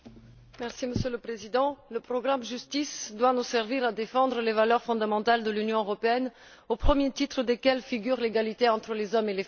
Monsieur le Président, le programme Justice doit nous servir à défendre les valeurs fondamentales de l'Union européenne, au premier titre desquelles figure l'égalité entre les hommes et les femmes.